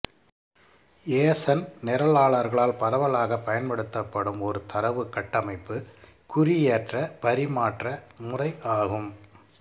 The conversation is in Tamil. யேசண் நிரலாளர்களால் பரவலாகப் பயன்படுத்தப்படும் ஒரு தரவுக் கட்டமைப்பு குறியேற்ற பரிமாற்ற முறை ஆகும்